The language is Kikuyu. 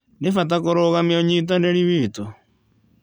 Nĩ bata kũrũgamia ũnyitanĩri witũ.